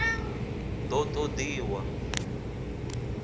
d o t od iwa